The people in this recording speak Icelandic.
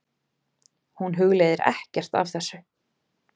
Hún hugleiðir ekkert af þessu.